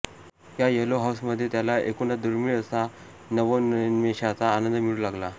या येलो हाउसमध्ये त्याला एकूणच दुर्मीळ असा नवोन्मेषाचा आनंद मिळू लागला